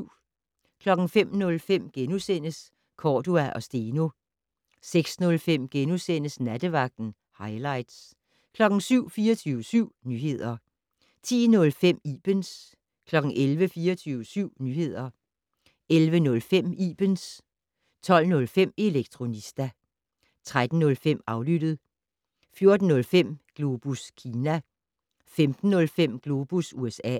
05:05: Cordua & Steno * 06:05: Nattevagten - hightlights * 07:00: 24syv Nyheder 10:05: Ibens 11:00: 24syv Nyheder 11:05: Ibens 12:05: Elektronista 13:05: Aflyttet 14:05: Globus Kina 15:05: Globus USA